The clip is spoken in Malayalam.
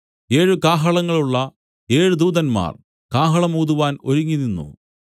ഏഴ് കാഹളങ്ങളുള്ള ഏഴ് ദൂതന്മാർ കാഹളം ഊതുവാൻ ഒരുങ്ങിനിന്നു